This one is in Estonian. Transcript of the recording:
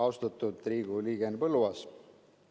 Austatud Riigikogu liige Henn Põlluaas!